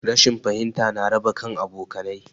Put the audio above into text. Rashin fahimta ya raba kan abokanai